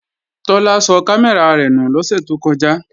Tọ́lá sọ kámẹ́rà rẹ̀ nù lọ́sẹ̀ tó kọjá